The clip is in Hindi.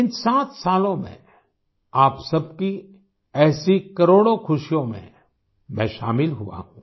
इन 7 सालों में आप सबकी ऐसी करोड़ों खुशियों में मैं शामिल हुआ हूँ